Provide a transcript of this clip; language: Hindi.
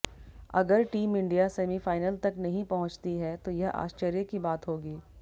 अगर टीम इंडिया सेमीफाइनल तक नहीं पहुंचती है तो यह आश्चर्य की बात होगी